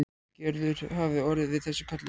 Gerður hafi orðið við þessu kalli.